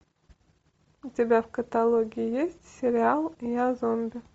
у тебя в каталоге есть сериал я зомби